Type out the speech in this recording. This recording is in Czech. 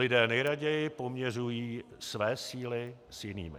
Lidé nejraději poměřují své síly s jinými.